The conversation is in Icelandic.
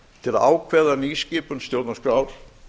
til að ákveða nýskipun stjórnarskrár